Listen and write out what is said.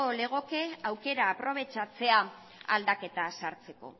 legoke aukera aprobetxatzea aldaketa sartzeko